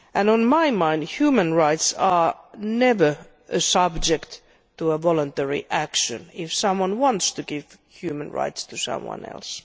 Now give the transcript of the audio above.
In my mind, human rights are never subject to voluntary action if someone wants to give human rights to someone else.